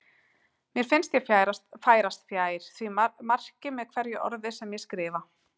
Mér finnst ég færast fjær því marki með hverju orði sem ég skrifa.